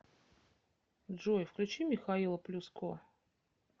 джой включи михаила плюско